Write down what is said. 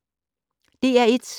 DR1